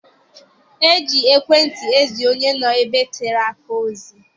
E ji ekwentị ezi onye nọ ebe tere aka ozi.